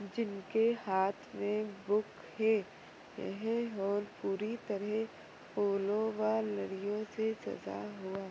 जिनके हाथ मे बुक है यह हॉल पूरी तरह फूलों वह लड़ियो से सजा हुआ